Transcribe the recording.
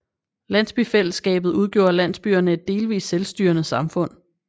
Landsbyfællesskabet udgjorde landsbyerne et delvist selvstyrende samfund